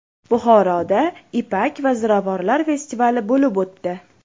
Buxoroda Ipak va ziravorlar festivali bo‘lib o‘tdi .